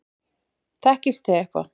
Þekkist þið eitthvað?